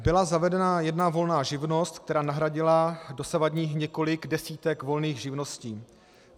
Byla zavedena jedna volná živnost, která nahradila dosavadních několik desítek volných živností.